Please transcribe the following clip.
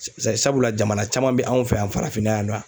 Sɛ sabula jamana caman be anw fɛ yan farafinna yan nɔ a